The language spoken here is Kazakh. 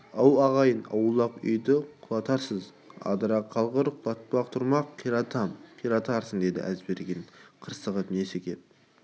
ау ағайын аулақ үйді құлатарсыз адыра қалғыр құлатпақ тұрмақ қиратам қиратарсың деді әзберген қырсығып несі кеп